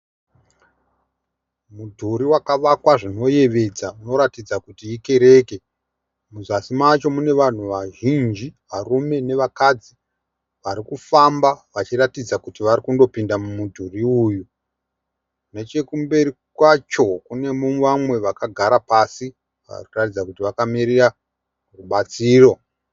Mudhuri wakavakwa zvinoyevedza unoratidza kuti ikereke. Muzasi macho mune vanhu vazhinji , varume nevakadzi varikufamba vachiratidza kuti vari kundopinda mumudhuri uyu. Nechekumberi kwacho kune vamwe vakagara pasi vari kuratidza kuti vakamirira rubatsiro.